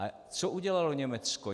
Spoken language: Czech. A co udělalo Německo?